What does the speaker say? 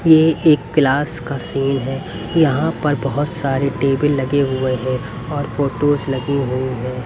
ये एक क्लास का सीन है यहां पर बहोत सारे टेबल लगे हुए हैं और फोटोस लगी हुई है।